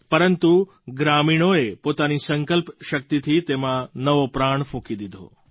પરંતુ ગ્રામીણોએ પોતાની સંકલ્પ શક્તિથી તેમાં નવો પ્રાણ ફૂંકી દીધો